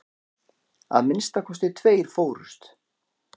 Að minnsta kosti tveir fórust.